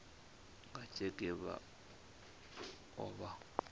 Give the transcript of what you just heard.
nga tsheke vha o vha